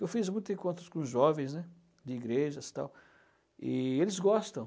Eu fiz muitos encontros com jovens né de igrejas e tal, e eles gostam.